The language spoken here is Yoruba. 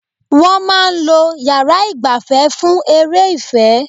Wọ́n máa ń lo yàrá ìgbafẹ́ fún eré ìfẹ́.